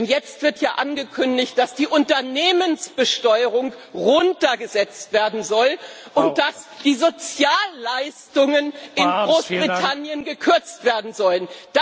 Denn jetzt wird ja angekündigt, dass die Unternehmensbesteuerung heruntergesetzt werden soll und dass die Sozialleistungen in Großbritannien gekürzt werden sollen.